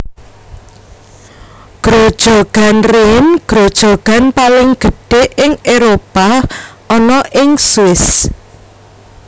Grojogan Rhine grojogan paling gedhé ingÉropah ana ing Swiss